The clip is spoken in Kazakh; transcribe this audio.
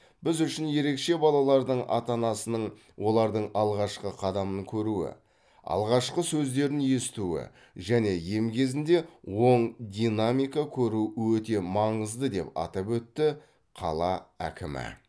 біз үшін ерекше балалардың ата анасының олардың алғашқы қадамын көруі алғашқы сөздерін естуі және ем кезінде оң динамика көруі өте маңызды деп атап өтті қала әкімі